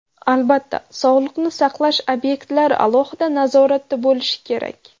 Albatta, sog‘liqni saqlash obyektlari alohida nazoratda bo‘lishi kerak.